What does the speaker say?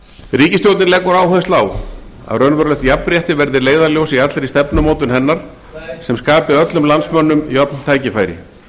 ríkisstjórnin leggur áherslu á að raunverulegt jafnrétti verði leiðarljós í allri stefnumótun hennar sem skapi öllum landsmönnum jöfn tækifæri